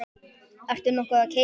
Ertu nokkuð að keyra?